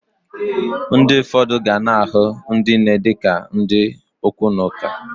Ndi ụfọdụ gana ahụ ndi nne di ka ndi okwu na ụka.